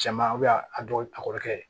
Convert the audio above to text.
Cɛman a dɔw a kɔrɔkɛ